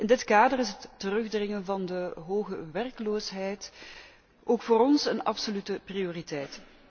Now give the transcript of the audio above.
In dit kader is het terugdringen van de hoge werkloosheid ook voor ons een absolute prioriteit.